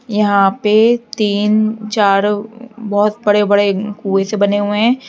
यहां पे तीन चार बहुत बड़े बड़े कुएँ से बने हुए हैं।